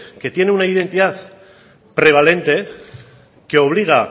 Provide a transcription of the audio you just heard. que tiene una identidad prevalente que obliga